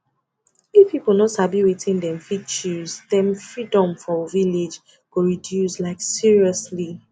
if people no sabi wetin dem fit choose dem freedom for village go reduce like seriously